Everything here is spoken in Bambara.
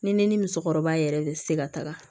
Ni ne ni musokɔrɔba yɛrɛ de tɛ se ka taga